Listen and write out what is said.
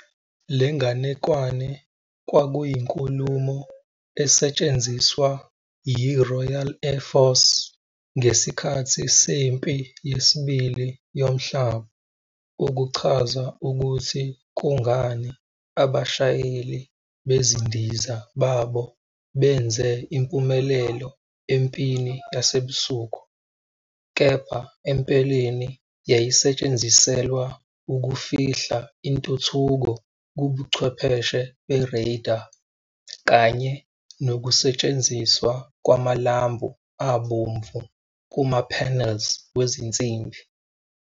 Le nganekwane kwakuyinkulumo- ze esetshenziswa yiRoyal Air Force ngesikhathi seMpi Yesibili Yomhlaba ukuchaza ukuthi kungani abashayeli bezindiza babo benze impumelelo empini yasebusuku, kepha empeleni yayisetshenziselwa ukufihla intuthuko kubuchwepheshe be-radar kanye nokusetshenziswa kwamalambu abomvu kuma-panels wezinsimbi.